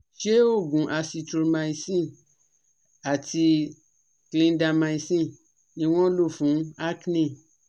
so Oògùn Azithromycin àti Clindamycin ni wọ́n lo fun acne